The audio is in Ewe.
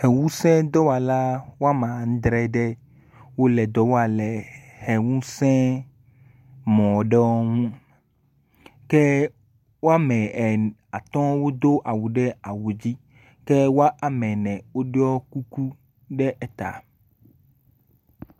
Ʋe ŋusẽ dɔwɔla womadre aɖe wole dɔ wam le ʋe ŋusẽ mɔɖewo ŋu woatɔ̃ wodo awu ɖe awu dzi ke woame ene wodo kuku ɖe eta.